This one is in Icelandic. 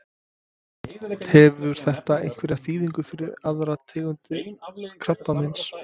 Hefur þetta einhverja þýðingu fyrir aðrar tegundir krabbameins?